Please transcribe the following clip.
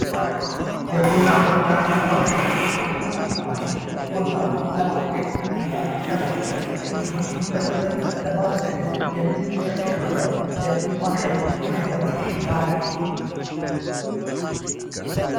ማሽኖች የቡና መፍጫ ማሽን ቡናን ለማድቀቅ እና ለመፍጨት እንዲሁም ለመጠጥ ለማዘጋጀት የምንጠቀምበት ማሽን ዓይነት ነው።